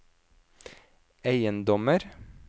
eiendommer